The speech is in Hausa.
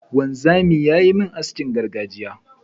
wanzamin yayi min haskin gargajiya.